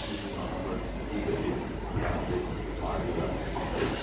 700 min adamla pul verib konkret maliyyə yardımını göstərib.